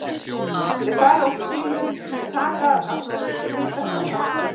Þeir fara út úr bílnum og taka að ganga sér til hita fram og aftur.